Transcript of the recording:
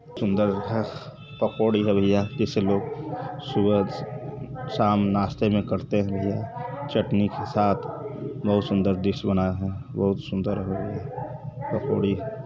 सुन्दर है पकौड़ी है भैया जिसे लोग सुबह शाम नास्ते में करते है चटनी के साथ बहुत सुन्दर डिश बनाया है बहुत सुन्दर है पकौड़ी।